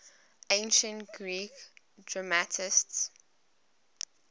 ancient greek dramatists